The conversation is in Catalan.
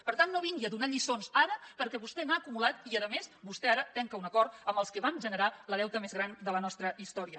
per tant no vingui a donar lliçons ara perquè vostè n’ha acumulat i a més vostè ara tanca un acord amb els que van generar el deute més gran de la nostra història